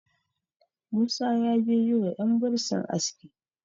musa ya je yi wa yan bursin aski